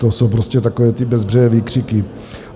To jsou prostě takové ty bezbřehé výkřiky.